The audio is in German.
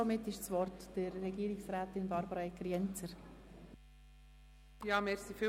Somit ist das Wort Regierungsrätin Barbara Egger.